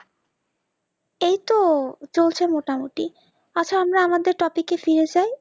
এই তো চলছে মোটামুটি আচ্ছা আমরা আমাদের topic এ ফিরে যাই